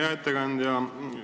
Hea ettekandja!